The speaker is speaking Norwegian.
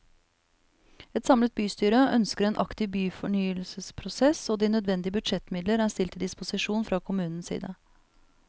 Et samlet bystyre ønsker en aktiv byfornyelsesprosess og de nødvendige budsjettmidler er stilt til disposisjon fra kommunens side.